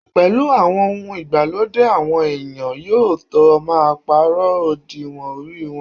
Pẹ̀lú àwọn ohun ìgbàlódé, àwọn èèyàn yóò tó máa pàrọ̀ òdiwọ̀n orí wọn